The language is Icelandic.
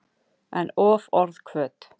En of orðhvöt.